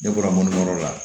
Ne bɔra mun yɔrɔ la